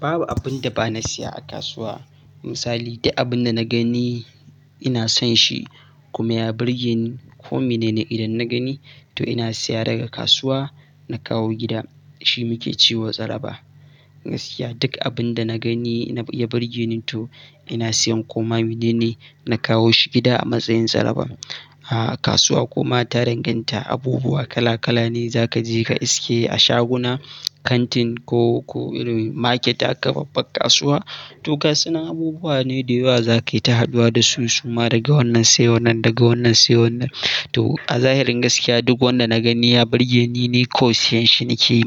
Babu abin da ba na siya a kasuwa. Misali, duk abin da na gani ina son shi kuma ya burge ni ko mene ne idan na gani to ina siya daga kasuwa na kawo gida. Shi muke cewa tsaraba. Gaskiya duk abin da na gani ya burge ni to ina siyan ko ma mene ne na kawo shi gida a matsayin tsaraba. Kasuwa kuma ta danganta. Abubuwa kala-kala ne za ka je ka iske a shaguna, kantin ko market, haka babbar kasuwa. To su nan abubuwa ne da yawa za ka yi ta haɗuwa da su suma daga wannan sai wannan, daga wannan sai wannan. To a zahirin gaskiya duk wanda na gani ya burge ni ni kai siyan shi nake,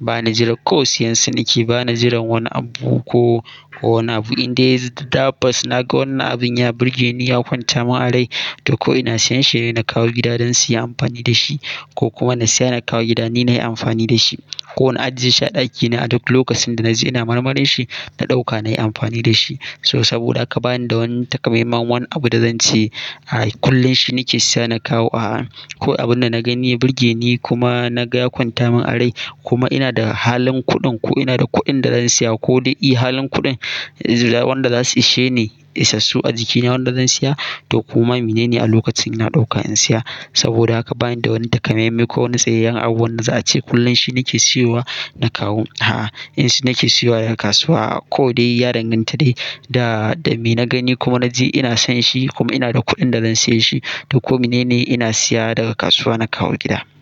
ba na jiran. Kai siyan su nake, ba na jiran wani abu ko wani abu. Indai inji tabbas naga wannan abin ya burge ni, ya kwanta min a rai, to ko ina siyan shi ne na kawo gida don su yi amfani da shi ko kuma na siya na kawo gida ni na yi amfani da shi. Kona a jiyeshi a ɗakina a duk lokacin da na ji ina marmarin shi, na ɗauka na yi amfani da shi. So saboda haka bani da wani takamaiman wani abu da zan ce kullum shi nake siya na kawo. Kawai abin da na gani ya burge ni kuma na ga ya kwanta min a rai kuma ina da halin kuɗin ko ina da kuɗin da zan siya ko dai iya halin kuɗin wanda za su ishe ni isassu a jikina wanda zan siya to koma mene ne a lokacin ina ɗauka in siya. Saboda haka bani da wani takamaime ko wani tsayayyen abu wanda za a ce kullum shi nake siyowa na kawo. In shi nake siyowa daga kasuwa ko dai ya danganta da me na gani kuma na ji ina son shi kuma ina da kuɗin da zan saye shi to ko mene ne ina siya daga kasuwa na kawo gida.